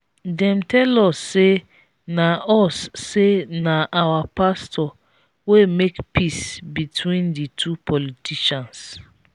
dem tell us say na us say na our pastor wey make peace between the two politicians.